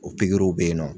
O pikiriw bɛ yen nɔ